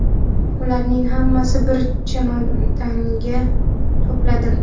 Ularning hammasini bir chemodanga to‘pladim”.